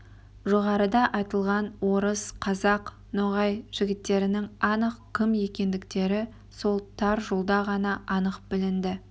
жоғарыда айтылған орыс қазақ ноғай жігіттерінің анық кім екендіктері сол тар жолда ғана анық білінді